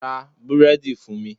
Ra Búrẹ́dì fún mi.